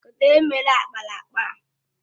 Kedụ onye mere ákpáraàkpà a?